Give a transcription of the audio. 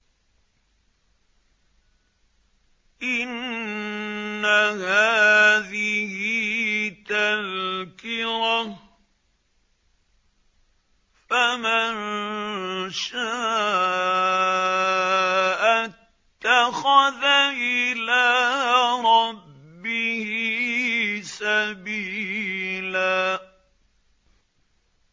إِنَّ هَٰذِهِ تَذْكِرَةٌ ۖ فَمَن شَاءَ اتَّخَذَ إِلَىٰ رَبِّهِ سَبِيلًا